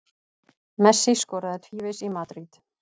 Messi skoraði tvívegis í Madríd